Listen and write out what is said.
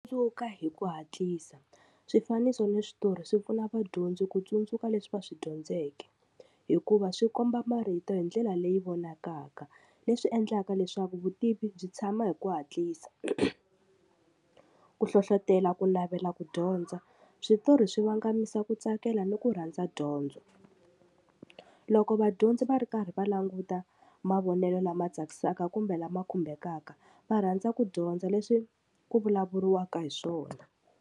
Dzuka hi ku hatlisa swifaniso ni switori swi pfuna vadyondzi ku tsundzuka leswi va swi dyondzeke hikuva swi komba marito hi ndlela leyi vonakaka leswi endlaka leswaku vutivi byi tshama hi ku hatlisa ku hlohlotelo ku navela ku dyondza switori swi vangamisa ku tsakela ni ku rhandza dyondzo loko vadyondzi va ri karhi va languta mavonelo lama tsakisaka kumbe lama khumbekaka va rhandza ku dyondza leswi ku vulavuriwaka hi swona.